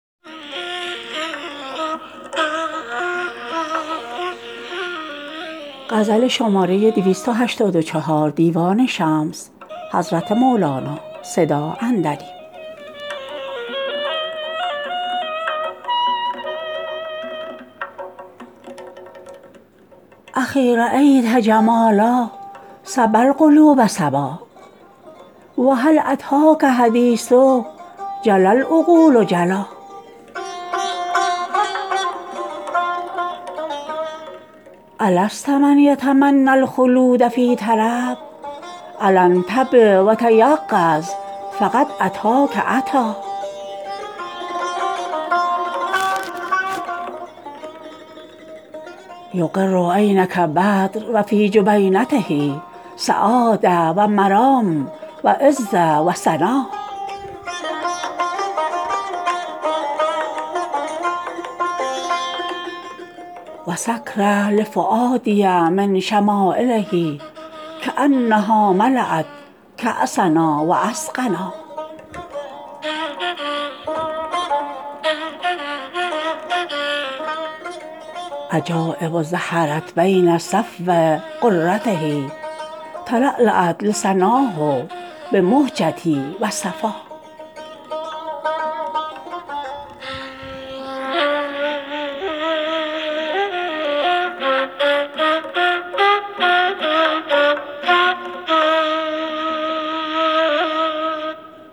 اخی رایت جمالا سبا القلوب سبا و هل اتیک حدیث جلا العقول جلا الست من یتمنی الخلود فی طرب الا انتبه و تیقظ فقد اتاک اتی یقر عینک بدر و فی جبینته سعاده و مرام و عزه و سنا و سکره لفؤادی من شمایله کانها ملات کاسنا و اسقانا عجایب ظهرت بین صفو غرته تلالات لسناه بمهجتی و صفا